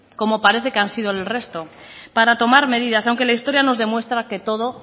como parece que han sido el resto para tomar medidas aunque la historia nos demuestra que